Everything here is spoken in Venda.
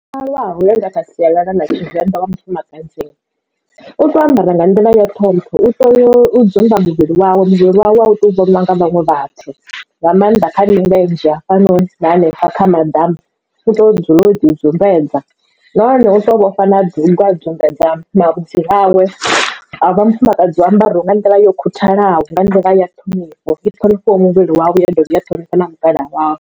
Muthu o malwaho nga kha sialala la tshivenḓa wa mufumakadzi u tea u ambara nga nḓila ya ṱhompho u tea u dzumba muvhili wawe muvhili wawe a u tou vhonwa nga vhaṅwe vhathu nga maanḓa kha milenzhe hafhanoni na hanefha kha maḓamu u to dzulela u ḓi dzumbetshedza nahone u tea u vha vhofha na dugu a dumberdza mavhudzi awe a vha mufumakadzi u ambara nga nḓila yo khuthalaho nga nḓila ya ṱhonifho i ṱhonifhaho muvhili wawe ya dovha ya ṱhonifha na mukalaha wawe.